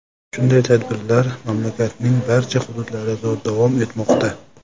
Shunday tadbirlar mamlakatning barcha hududlarida davom etmoqda.